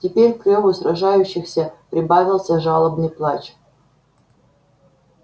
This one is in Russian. теперь к рёву сражающихся прибавился жалобный плач